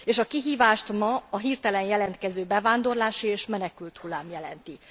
És a kihívást ma a hirtelen jelentkező bevándorlási és menekülthullám jelenti.